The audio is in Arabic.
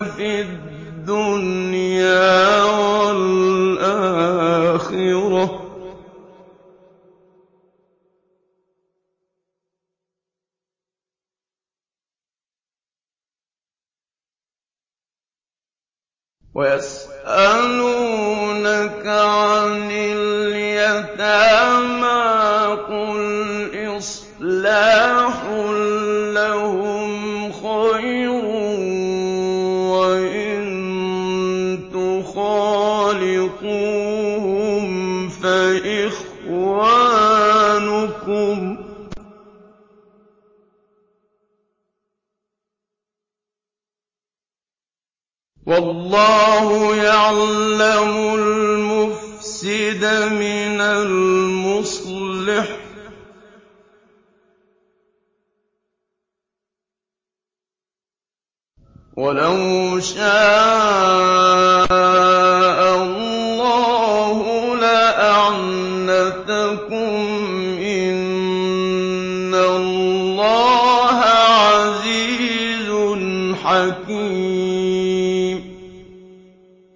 فِي الدُّنْيَا وَالْآخِرَةِ ۗ وَيَسْأَلُونَكَ عَنِ الْيَتَامَىٰ ۖ قُلْ إِصْلَاحٌ لَّهُمْ خَيْرٌ ۖ وَإِن تُخَالِطُوهُمْ فَإِخْوَانُكُمْ ۚ وَاللَّهُ يَعْلَمُ الْمُفْسِدَ مِنَ الْمُصْلِحِ ۚ وَلَوْ شَاءَ اللَّهُ لَأَعْنَتَكُمْ ۚ إِنَّ اللَّهَ عَزِيزٌ حَكِيمٌ